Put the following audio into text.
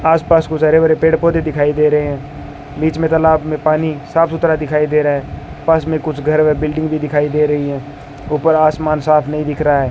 आस-पास कुछ हरे-भरे पेड़-पौधे दिखाई दे रहे है बीच में तालाब में पानी साफ-सुथरा दिखाई दे रहा है पास में कुछ घर-वर बिल्डिंग भी दिखाई दे रही हैं ऊपर आसमान साफ नहीं दिख रहा है।